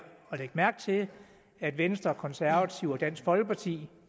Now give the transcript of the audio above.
at lægge mærke til at venstre konservative og dansk folkeparti